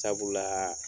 Sabula